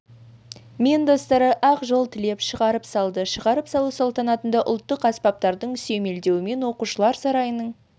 мен достары ақ жол тілеп шығарып салды шығарып салу салтанатында ұлттық аспаптардың сүйемелдеуімен оқушылар сарайының